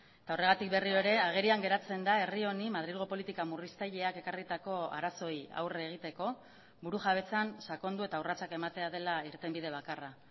eta horregatik berriro ere agerian geratzen da herri honi madrilgo politika murriztaileak ekarritako arazoei aurre egiteko burujabetzan sakondu eta urratsak ematea dela irtenbide bakarra